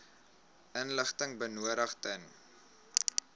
inligting benodig ten